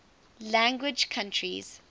language countries